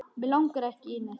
Mig langar ekki í neitt.